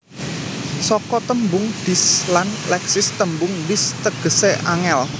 Saka tembung Dis lan Leksis tembung Dis tegesé angel